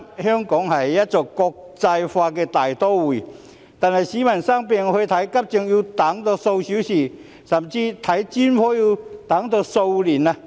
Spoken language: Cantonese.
香港是一個國際大都會，但是，市民生病時去看急症要等候數小時，看專科甚至要等候數年。